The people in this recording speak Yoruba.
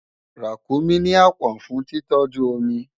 Ràkúnmí ní àpọ̀n fún títọ́jú omi